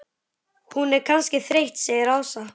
Hún er kannski þreytt segir Ása.